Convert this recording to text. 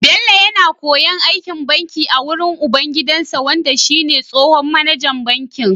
Bello yAna koyon aikin banki a wurin ubangidansa wanda shi ne tsohon mAnajan bankin